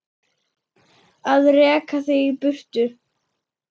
Að reka þig í burtu!